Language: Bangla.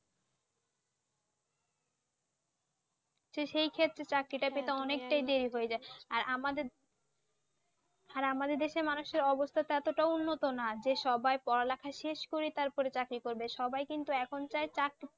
তো সেই ক্ষেত্রে চাকরি টা কিন্তু অনেকটাই দেরি হয়ে যায়। আর আমাদের আর আমাদের দেশের মানুষের অবস্থা টা তো এতটা ও উন্নত না যে সবাই পড়া লেখা শেষ করেই তারপরে চাকরি করবে। সবাই কিন্তু এখন চায় চাক~